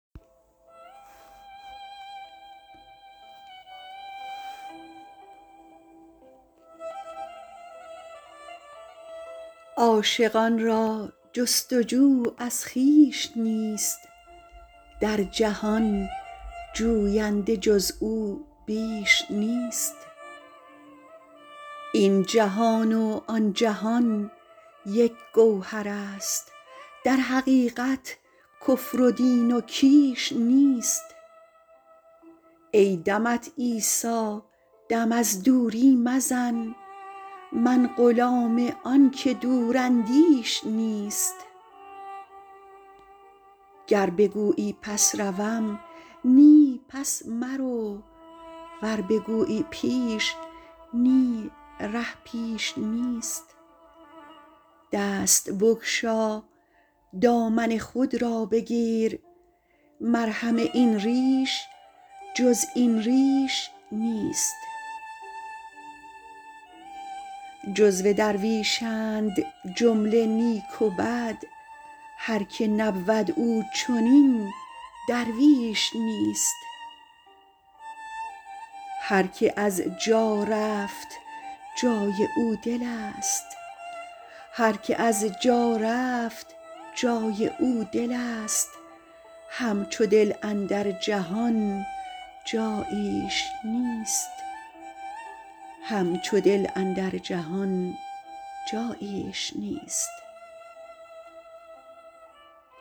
عاشقان را جست و جو از خویش نیست در جهان جوینده جز او بیش نیست این جهان و آن جهان یک گوهر است در حقیقت کفر و دین و کیش نیست ای دمت عیسی دم از دوری مزن من غلام آن که دوراندیش نیست گر بگویی پس روم نی پس مرو ور بگویی پیش نی ره پیش نیست دست بگشا دامن خود را بگیر مرهم این ریش جز این ریش نیست جزو درویشند جمله نیک و بد هر که نبود او چنین درویش نیست هر که از جا رفت جای او دل است همچو دل اندر جهان جاییش نیست